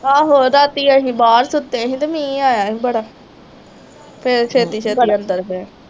ਆਹੋ ਰਾਤੀ ਅਸੀਂ ਬਾਹਰ ਸੁੱਤੇ ਸੀ ਅਤੇ ਮੀਂਹ ਆਇਆ ਸੀ ਬੜਾ, ਫੇਰ ਛੇਤੀ ਛੇਤੀ ਅੰਦਰ ਗਏ।